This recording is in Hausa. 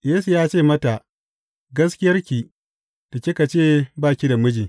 Yesu ya ce mata, Gaskiyarki da kika ce ba ki da miji.